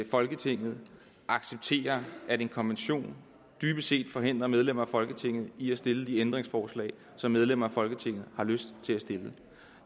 folketinget accepterer at en konvention dybest set forhindrer medlemmer af folketinget i at stille de ændringsforslag som medlemmerne af folketinget har lyst til at stille